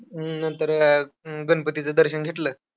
हम्म नंतर गणपतीचं दर्शन घेतलं,